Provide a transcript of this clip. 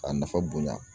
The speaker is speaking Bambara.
K'a nafa bonya